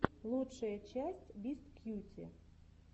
лучшая часть бисткьюти